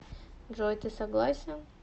джой ты согласен